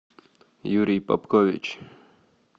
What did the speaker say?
юрий попкович